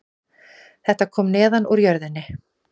Þetta kom neðan úr jörðinni